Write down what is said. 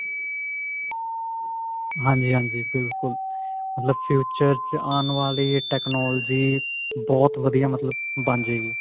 ਹਾਂਜੀ ਹਾਂਜੀ ਬਿਲਕੁਲ ਮਤਲਬ future ਚ ਆਉਣ ਵਾਲੀ technology ਬਹੁਤ ਵਧੀਆ ਮਤਲਬ ਬਣ ਜੇਗੀ